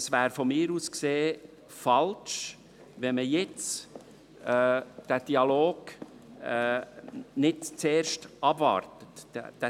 Es wäre aus meiner Sicht falsch, wenn man jetzt nicht zuerst den Dialog abwarten würde.